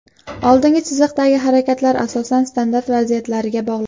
Oldingi chiziqdagi harakatlar asosan standart vaziyatlariga bog‘liq.